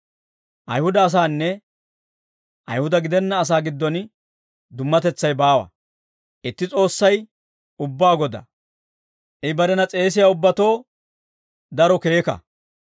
Ayihuda asaanne Ayihuda gidenna asaa giddon dummatetsay baawa. Itti S'oossay ubbaa Godaa; I barena s'eesiyaa ubbatoo daro keeka.